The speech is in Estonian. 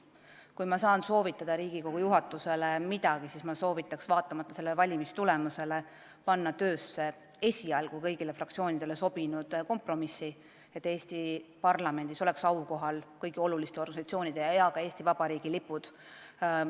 Kui ma saan Riigikogu juhatusele midagi soovitada, siis ma soovitan vaatamata sellele hääletustulemusele minna kõigile fraktsioonidele sobinud kompromissile, et Eesti parlamendis oleks aukohal kõigi oluliste organisatsioonide ja ka Eesti Vabariigi lipud.